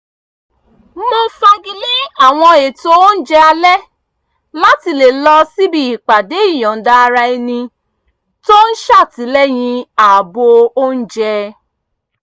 mo fagilé àwọn ètò oúnjẹ alẹ́ láti lè lọ síbi ìpàdé ìyọ̀nda-ara-ẹni tó ń ṣàtìlẹ́yìn ààbò oúnjẹ